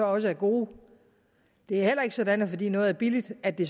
også gode det er heller ikke sådan at fordi noget er billigt er det